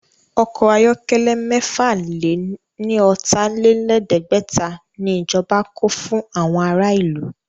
Ọkọ̀ ayọ̀kẹ́lẹ́ mẹ́fà lè ní ọ̀tà-lé-lẹ̀ẹ́dẹ́gbẹ̀ta ni ìjọba kó fún àwọn ará ìlú